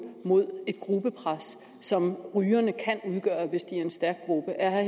mod et gruppepres som rygerne kan udgøre hvis de er en stærk gruppe er herre